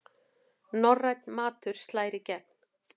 Norrænn matur slær í gegn